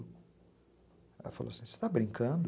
Ela falou assim, você está brincando?